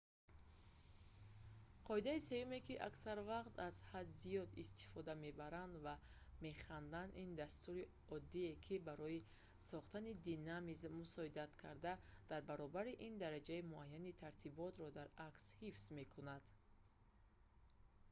қоидаи сеюме ки аксар вақт аз ҳад зиёд истифода мебаранд ва механданд - ин дастури оддӣ ки барои схтани динамизм мусоидат карда дар баробари ин дараҷаи муайяни тартиботро дар акс ҳифз мекунад